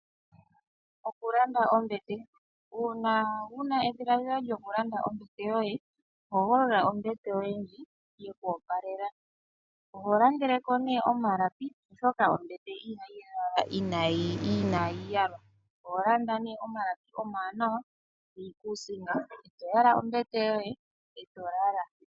Okulanda ombete. Uuna wuna edhiladhilo lyokulanda ombete yoye, hogolola ombete yoye ndjoka yeku opalela . Oho landele ko omalapi oshoka ombete ihayi ya , inaayi yalwa. Oho landa omalapi omawanawa niikusinga, eto yala ombete yoye eto lala.